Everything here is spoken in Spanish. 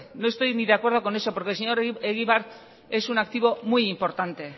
no estoy ni de acuerdo con eso porque el señor egibar es un activo muy importante